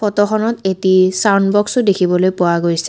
ফটোখনত এটি ছাউণ্ড বক্সও দেখিবলৈ পোৱা গৈছে।